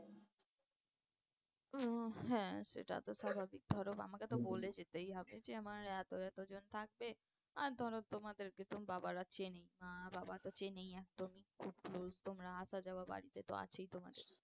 আহ হ্যাঁ সেটা তো স্বাভাবিক ধরো আমাকে তো বলে যেতেই হবে যে আমার এতো এতো জন থাকবে আর ধরো তোমাদেরকে তো বাবারা চেনেই মা বাবা তো চেনেই একদমই খুব close তোমরা আসা যাওয়া বাড়িতে তো আছেই তোমাদের